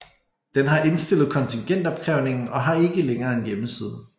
Den har indstillet kontingentopkrævningen og har ikke længere en hjemmeside